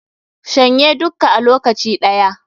Shan ye dukka a lokaci ɗaya